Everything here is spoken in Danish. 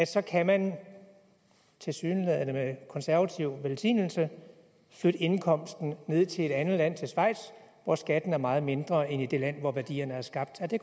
så kan man tilsyneladende med konservativ velsignelse flytte indkomsten ned til et andet land til schweiz hvor skatten er meget mindre end i det land hvor værdierne er skabt er det